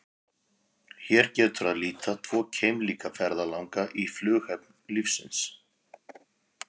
Hér getur að líta tvo keimlíka ferðalanga í flughöfn lífsins.